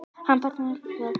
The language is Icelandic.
Hann bar æskuna vel.